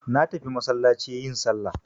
Natafi masallaci yin sallah.